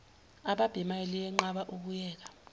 ababhemayo liyenqaba ukuyeka